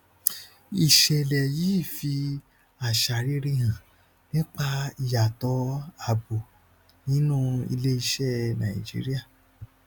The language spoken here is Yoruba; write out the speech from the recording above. ìṣẹlẹ yìí fi àṣà rere hàn nípa ìyàtọ abo nínú iléiṣẹ nàìjíríà